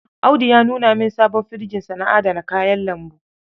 Audu ya nuna min sabon firjinsa na adana kayan lambu.